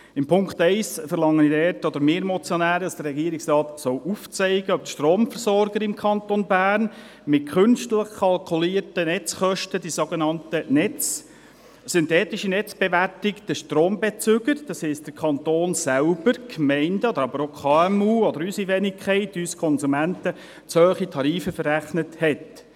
: In Punkt 1 verlangen wir Motionäre, dass der Regierungsrat aufzeigen soll, ob die Stromversorger im Kanton Bern mit künstlich kalkulierten Netzkosten – der sogenannten synthetischen Netzbewertung – den Strombezügern, das heisst dem Kanton selber, den Gemeinden, aber auch den KMU oder unserer Wenigkeit, uns Konsumenten, zu hohe Tarife verrechnet haben.